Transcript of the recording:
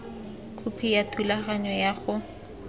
khopi ya thulaganyo ya go